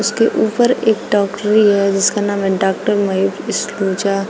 इसके ऊपर एक डॉक्टरी है जिसका नाम है डॉक्टर महीप सलूजा।